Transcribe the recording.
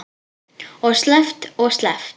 Og sleppt og sleppt.